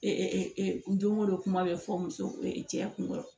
don o don kuma bɛ fɔ muso cɛya kun kɔrɔ